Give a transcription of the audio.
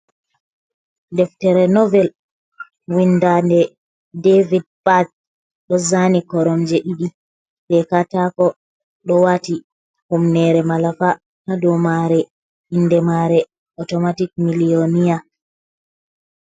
Ɗeftere novel winda nde david bath, ɗo zani koromje ɗiɗi je katako, ɗo wati humnere malafa ha dou mare inde mare automatic milliyoniya.